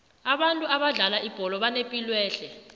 abantu abadlala ibholo banepilwehle